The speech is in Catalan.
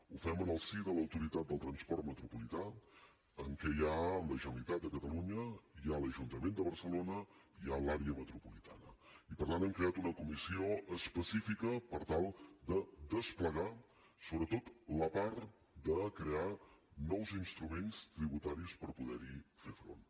ho fem en el si de l’autoritat del transport metropolità en què hi ha la generalitat de catalunya hi ha l’ajuntament de barcelona i hi ha l’àrea metropolitana i per tant hem creat una comissió específica per tal de desplegar sobretot la part de crear nous instruments tributaris per poder hi fer front